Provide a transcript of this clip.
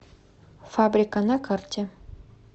фабрика на карте